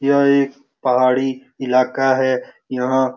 यह एक पहाड़ी इलाका है। यह--